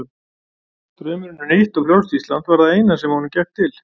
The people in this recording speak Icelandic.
Draumurinn um nýtt og frjálst Ísland var það eina sem honum gekk til.